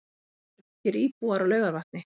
Hvað eru margir íbúar á Laugarvatni?